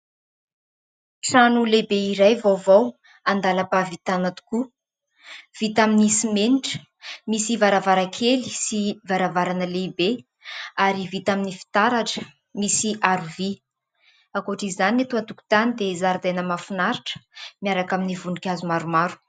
Trano lehibe iray vaovao andalam-pahavitana tokoa, vita amin'ny simenitra, misy varavaran-kely sy varavarana lehibe ary vita amin'ny fitaratra misy aro-vy, ankoatra izany ny eto an-tokotany dia zaridaina mahafinaritra miaraka amin'ny voninkazo maromaro.